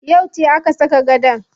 Yauce aka saka gadon?